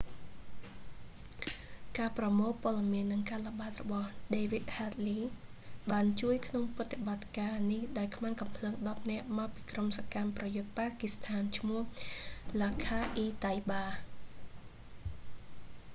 ការប្រមូលព័ត៌មាន និងការល្បាតរបស់ david headley បានជួយក្នុងប្រតិបត្តិការនេះដោយខ្មាន់កាំភ្លើង 10 នាក់ មកពីក្រុមសកម្មប្រយុទ្ធប៉ាគីស្ថាន ឈ្មោះ លាស់ខា អ៊ី តៃបា laskhar-e-taiba